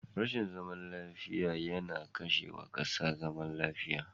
Rashin zaman lafiya yana kashe wa kasa zaman lafiya.